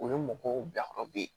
O ye mɔgɔw bilakɔrɔb